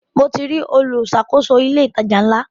Mo ti rí olùṣàkóso ilé ìtajà ńlá.